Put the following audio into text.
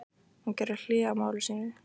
Hún gerði hlé á máli sínu.